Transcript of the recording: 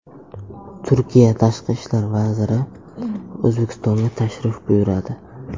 Turkiya tashqi ishlar vaziri O‘zbekistonga tashrif buyuradi.